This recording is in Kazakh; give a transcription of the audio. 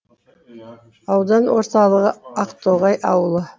аудан орталығы ақтоғай ауылы